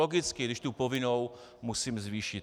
Logicky, když tu povinnou musím zvýšit.